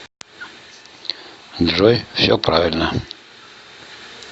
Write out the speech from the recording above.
джой все правильно